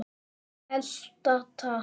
Elta takk!